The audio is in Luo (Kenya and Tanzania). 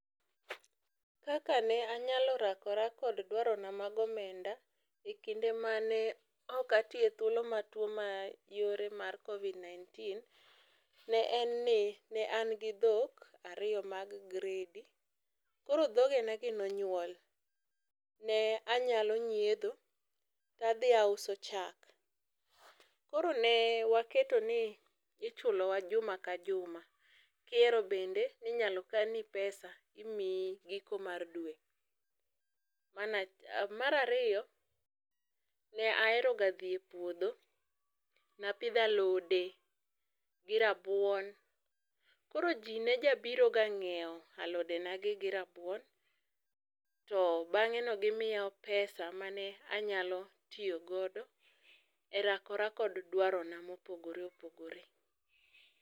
Kaka ne anyalo rakore kod dwarona mag omenda ekinde ma tuo mayore mar Covid 19 en ni ne an gi dhok ariyo mag gredi, koro dhoge na gi ne onyuol ,ne anyalo nyiedho to adhi auso chak. Koro ne waketo ni ichulo wa juma ka juma kihero bende ninyalo kan ni pesa imiyi giko mar dwe. Mar ariyo ne aheroga dhi e puodho, ne apidho alode gi rabuon, koro jii ne ja biroga nyiew alode ga gi gi rabuon to bange no gimiyowa pesa mane anyalo tiyo godo e rakora kod dwarona mopogore opogore